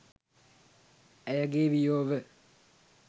ඇයගේ වියෝව